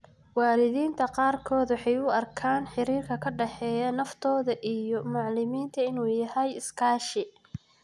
Waalidiinta qaarkood waxay u arkaan xiriirka ka dhexeeya naftooda iyo macallimiinta inuu yahay iskaashi.